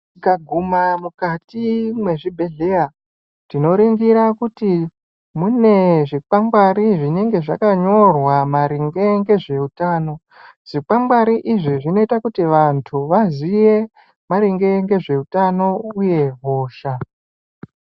Tikaguma mukati mwezvibhedhlera tinoringira kuti mune zvikwangwari zvenenge zvakanyorwa maringe ngezveutano, zvikwangwari izvi zvinoite kuti vantu vaziye maringe ngezveutano uye hosha.